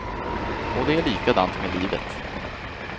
Och det är likadant med livet.